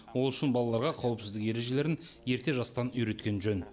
ол үшін балаларға қауіпсіздік ережелерін ерте жастан үйреткен жөн